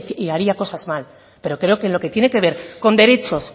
haría cosas mal pero creo que en lo que tiene que ver con derechos